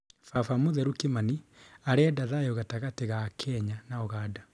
Baba mũtheru Kimani: arenda thayu gatagatĩ ga Kenya na Uganda